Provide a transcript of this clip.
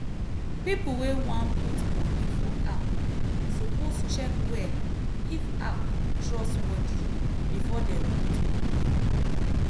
people wey wan put money for app suppose check well if app trustworthy before dem put money.